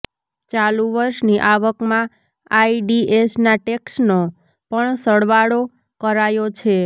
ચાલુ વર્ષની આવકમાં આઈડીએસના ટેક્સનો પણ સરવાળો કરાયો છે